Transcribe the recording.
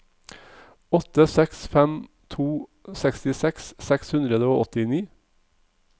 åtte seks fem to sekstiseks seks hundre og åttini